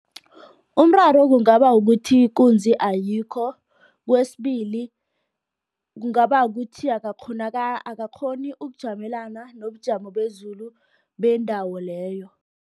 Umraro kungaba ukuthi ikunzi ayikho. Kwesibili, kungaba kuthi akakghoni ukujamelana nobujamo bezulu bendawo leyo.